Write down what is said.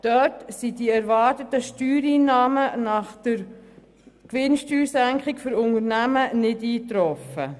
Dort sind die erwarteten Steuereinnahmen nach der Gewinnsteuersenkung für Unternehmen nicht eingetroffen.